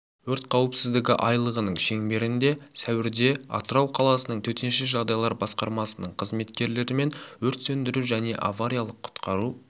өрт қауіпсіздігі айлығының шеңберінде сәуірде атырау қаласының төтенше жағдайлар басқармасының қызметкерлерімен өрт сөндіру және авариялық құтқару